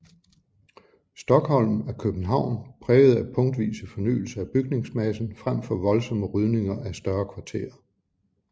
Stockholm er København præget af punktvise fornyelser af bygningsmassen frem for voldsomme rydninger af større kvarterer